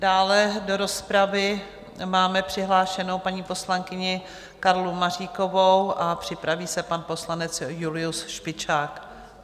Dále do rozpravy máme přihlášenou paní poslankyni Karlu Maříkovou a připraví se pan poslanec Julius Špičák.